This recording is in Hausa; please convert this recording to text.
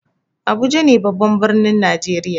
Abuja ne babban birnin najeriya.